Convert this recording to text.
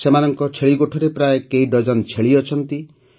ସେମାନଙ୍କ ଛେଳିଗୋଠରେ ପ୍ରାୟ କେଇ ଡଜନ ଛେଳି ଅଛନ୍ତି